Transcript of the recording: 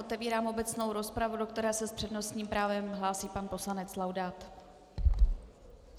Otevírám obecnou rozpravu, do které se s přednostním právem hlásí pan poslanec Laudát.